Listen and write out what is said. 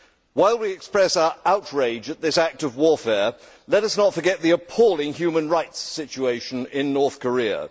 While we express our outrage at this act of warfare, let us not forget the appalling human rights situation in North Korea.